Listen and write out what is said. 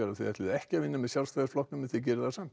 að þið ætluðuð ekki að vinna með Sjálfstæðisflokknum en gerið það samt